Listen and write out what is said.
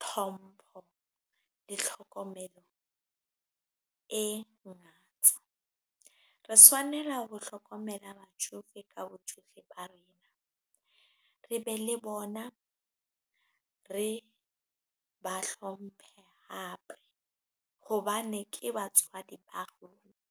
tlhompho le tlhokomelo e ngata. Re swanela ho hlokomela batjofe ka botjofe ba rena re be le bona, re ba hlomphe hape hobane ke batswadi ba rona.